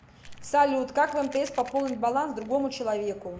салют как в мтс пополнить баланс другому человеку